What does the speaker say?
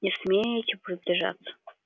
не смейте приближаться